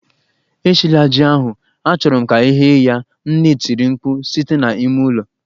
Eshila ji ahu! Achọrọ m ka e ghee ya, nne tiri mkpu site na ime ụlọ